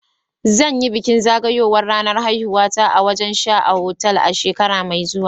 Zan yi bikin zagayowar ranar haihuwata a wajen sha a otal a shekara mai zuwa.